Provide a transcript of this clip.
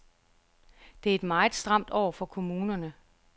Det er et meget stramt år for kommunerne.